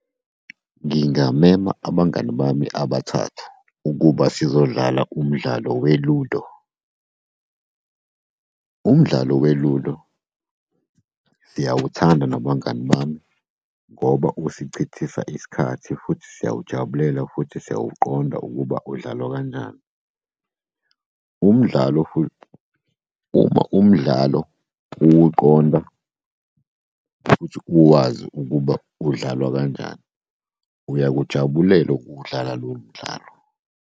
Ngingamema abangani bami abathathu ukuba sizodlala umdlalo we-Ludo. Umdlalo we-Ludo siyawuthanda nabangani bami, ngoba usichithisa isikhathi futhi siyawujabulela futhi siyawuqonda ukuba udlalwa kanjani. Umdlalo futhi, uma umdlalo uwuqonda futhi uwazi ukuba udlalwa kanjani, uyakujabulela ukuwudlala lowo mdlalo.